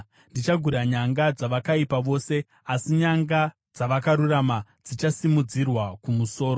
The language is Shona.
Ndichagura nyanga dzavakaipa vose, asi nyanga dzavakarurama dzichasimudzirwa kumusoro.